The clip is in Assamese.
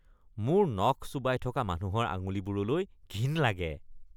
মোৰ নখ চোবাই থকা মানুহৰ আঙুলিবোৰলৈ ঘিণ লাগে।